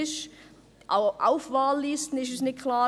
Für uns ist «auf Wahllisten» nicht klar.